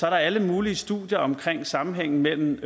er alle mulige studier omkring sammenhængen mellem